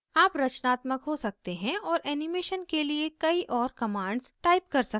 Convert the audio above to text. आप रचनात्मक हो सकते हैं और एनीमेशन के लिए कई और commands type कर सकते हैं